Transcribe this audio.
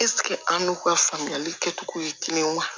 ɛsike an n'u ka faamuyali kɛcogo ye kelen wa